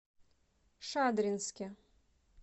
шадринске